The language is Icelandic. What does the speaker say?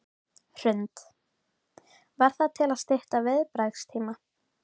Hrund: Var það til að stytta viðbragðstíma?